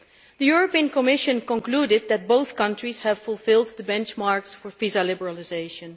The European Commission concluded that both countries have fulfilled the benchmarks for visa liberalisation.